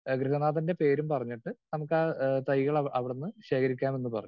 Speaker 2 ഗൃഹനാഥന്റെ പേരും പറഞ്ഞിട്ട് നമുക്കാ തൈകൾ അവിടുന്ന് ശേഖരിക്കാമെന്ന് പറഞ്ഞു.